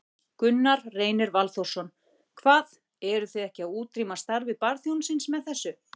Gunnar Reynir Valþórsson: Hvað, eruð þið ekki að útrýma starfi barþjónsins með þessu?